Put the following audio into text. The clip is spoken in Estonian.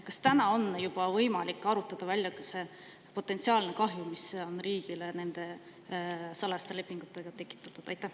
Kas täna on juba võimalik arvutada välja see potentsiaalne kahju, mis on riigile nende salajaste lepingutega tekitatud?